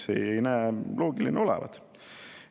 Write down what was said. See ei näi loogiline olevat.